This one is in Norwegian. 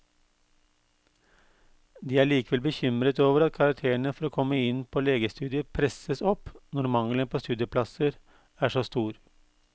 De er likevel bekymret over at karakterene for å komme inn på legestudiet presses opp når mangelen på studieplasser er så stor.